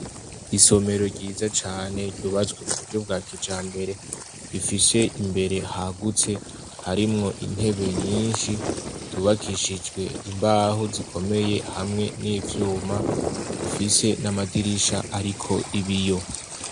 Isomero ryiza cane ryubatswe mu buryo bwa kijambere, rifise imbere hagutse ,harimwo intebe nyinshi ,zubakishijwe imbaho zikomeye hamwe n'ivyuma, zifise n'amadirisha ariko ibiyo.